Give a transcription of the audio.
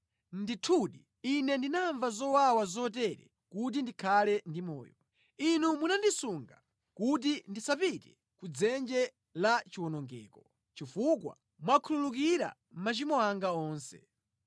Ndithudi, ine ndinamva zowawa zotere kuti ndikhale ndi moyo; Inu munandisunga kuti ndisapite ku dzenje la chiwonongeko chifukwa mwakhululukira machimo anga onse.